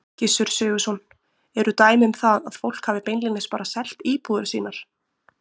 Gissur Sigurðsson: Eru dæmi um það að fólk hafi beinlínis bara selt íbúðir sínar?